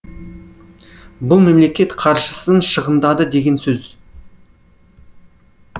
бұл мемлекет қаржысын шығындады деген сөз